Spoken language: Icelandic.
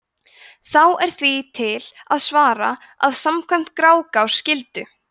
þá er því til að svara að samkvæmt grágás skyldu